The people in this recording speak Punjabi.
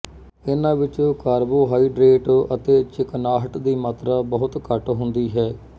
ਇਨ੍ਹਾਂ ਵਿੱਚ ਕਾਰਬੋਹਾਈਡ੍ਰੇਟ ਅਤੇ ਚਿਕਨਾਹਟ ਦੀ ਮਾਤਰਾ ਬਹੁਤ ਘੱਟ ਹੁੰਦੀ ਹੈ